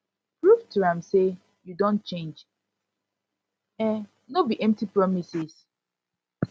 prove to am sey yu don change um no be empty promises